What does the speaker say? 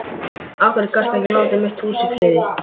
Af hverju gastu ekki látið mitt hús í friði?